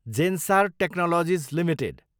Zensar technologies Ltd